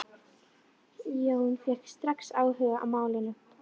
Jón fékk strax áhuga á málinu.